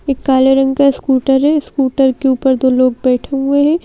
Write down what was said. एक काले रंग का स्कूटर है स्कूटर के ऊपर दो लोग बैठे हुए है।